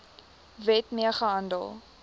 wet mee gehandel